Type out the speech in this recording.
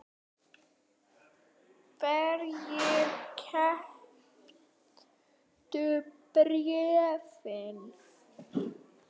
Hverjir keyptu bréfin?